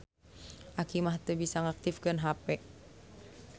Aki mah teu bisa ngaktifkeun hape